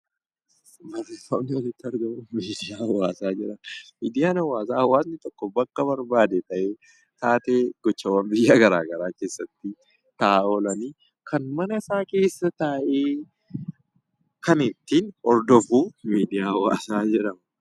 Wanti asitti argamu kun miidiyaa hawaasaa jedhama. Miidiyaan hawaasaa hawaasni tokko bakka barbaade taa'ee taateewwan gocha biyya garaagaraa keessatti ta'aa oolan kan manasaa keessa taa'ee kan ittiin hordofu miidiyaa hawaasaa jedhama.